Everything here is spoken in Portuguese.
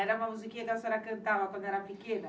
Era uma musiquinha que a senhora cantava quando era pequena.